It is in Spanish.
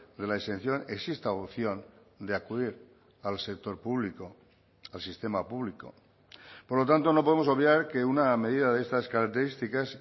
de la exención exista opción de acudir al sector público al sistema público por lo tanto no podemos obviar que una medida de estas características